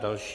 Další.